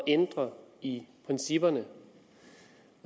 ændre i principperne og